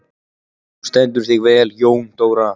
Þú stendur þig vel, Jóndóra!